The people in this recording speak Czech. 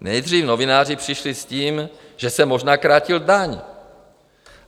Nejdřív novináři přišli s tím, že jsem možná krátil daň.